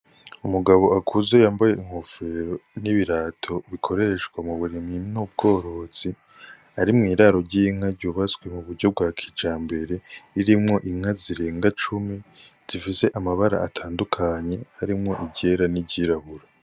Umugabo akuze yambaye inkofero n'ibirato bikoreshwa mu burimyi n'ubworozi arimwo iraro ryinka ryubatswe mu buryo bwa kija mbere ririmwo inka zirenga cumi zifise amabara atandukanye arimwo iryera n'iryirabura.